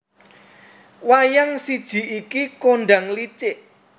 Wayang siji iki kondhang licik